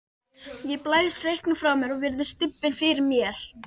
Ég blæs reyknum frá mér og virði stubbinn fyrir mér.